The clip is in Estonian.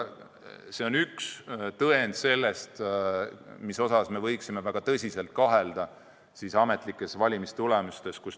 See on üks tõend, mille tõttu me peaksime väga tõsiselt kahtlema ametlikes valimistulemustes.